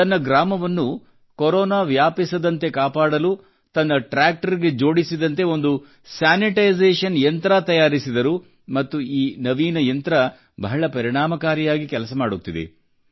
ತನ್ನ ಗ್ರಾಮವನ್ನು ಕೊರೊನಾ ವ್ಯಾಪಿಸದಂತೆ ಕಾಪಾಡಲು ತನ್ನ ಟ್ರ್ಯಾಕ್ಟರ್ ಗೆ ಜೋಡಿಸಿದಂತೆ ಒಂದು ಸ್ಯಾನಿಟೈಸೇಷನ್ ಯಂತ್ರ ತಯಾರಿಸಿದರು ಮತ್ತು ಈ ನವೀನ ಯಂತ್ರ ಬಹಳ ಪರಿಣಾಮಕಾರಿಯಾಗಿ ಕೆಲಸ ಮಾಡುತ್ತಿದೆ